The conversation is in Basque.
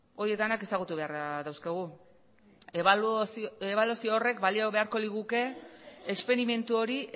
hori denak ezagutu beharra dauzkagu ebaluazio horrek balio beharko liguke esperimentu hori